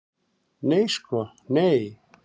Nei sko nei.